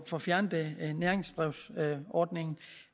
få fjernet næringsbrevsordningen